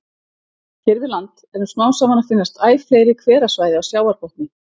Hér við land eru smám saman að finnast æ fleiri hverasvæði á sjávarbotni.